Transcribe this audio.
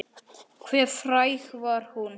Hve fræg var hún?